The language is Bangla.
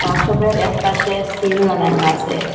ওয়ার্কশপের এক পাশে স্ক্রিন লাগানো আসে।